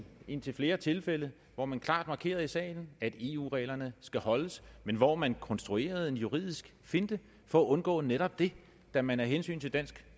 indtil flere tilfælde hvor man klart markerede i salen at eu reglerne skal holdes men hvor man konstruerede en juridisk finte for at undgå netop det da man af hensyn til dansk